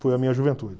Foi a minha juventude.